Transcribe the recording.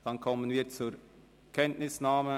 – Dann kommen wir zur Kenntnisnahme.